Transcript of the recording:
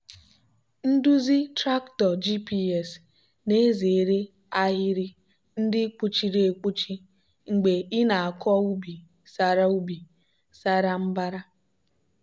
nduzi traktọ gps na-ezere ahịrị ndị kpuchiri ekpuchi mgbe ị na-akọ ubi sara ubi sara mbara.